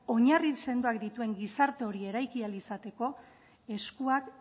oinarri sendoak dituen gizarte hori eraiki ahal izateko eskuak